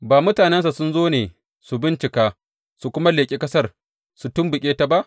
Ba mutanensa sun zo ne su bincika su kuma leƙi ƙasar su tumɓuke ta ba?